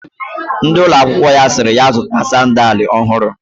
Ndi ulo akwukwo ya siri ya zuta sandal ofuru